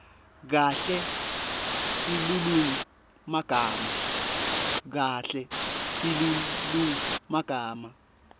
kahle silulumagama